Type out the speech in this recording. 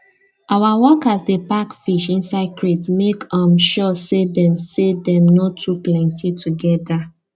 our workers dey pack fish inside crates make um sure say dem say dem no too plenty together